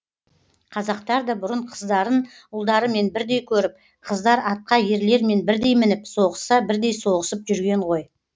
қазақтар да бұрын қыздарын ұлдарымен бірдей көріп қыздар атқа ерлермен бірдей мініп соғысса бірдей соғысып жүрген ғой